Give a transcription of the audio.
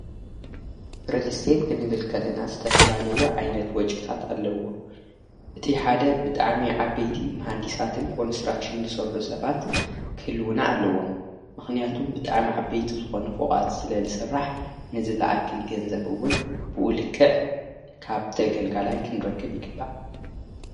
ርልስት ክንብልከለና ዝተፈላለዮ ዓይነት ወጭታት ኣለዎ እቲ ሓደ ብጣሜ ዓበይቲ ማሓዲሳትን ኰኑሥራኽሹን ሠርኁ ሰባት ክህልውና ኣለዎም ምኽንያቱም ብጣሜ ዓበይቲ ዝኾኑፍቓት ስለ ልሥራሕ ንዝለኣኪል ገንዘብውን ብኡልክእ ካብተ ገልጋላይ ክንረክብ ይግባእ።